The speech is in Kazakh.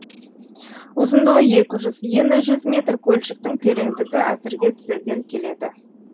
ұзындығы екі жүз ені жүз метр көлшіктің тереңдігі әзірге тізеден келеді